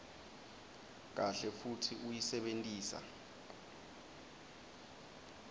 kahle futsi uyisebentisa